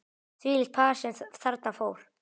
Þvílíkt par sem þarna fór.